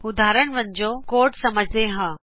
ਉਦਾਹਰਨ ਵਜੋਂਕੋਡ ਸਮਝਦੇਂ ਹਾਂ